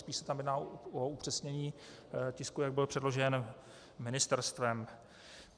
Spíš se tam jedná o upřesnění tisku, jak byl předložen ministerstvem.